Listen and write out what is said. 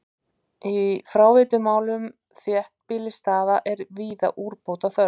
Í fráveitumálum þéttbýlisstaða er víða úrbóta þörf.